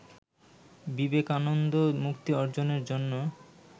বিবেকানন্দ মুক্তি অর্জনের জন্য